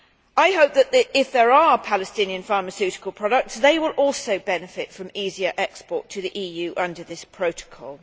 I hope that, if there are Palestinian pharmaceutical products, they will also benefit from easier export to the EU under this protocol.